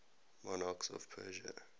monarchs of persia